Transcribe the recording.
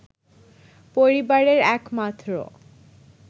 পরিবারের এক মাত্র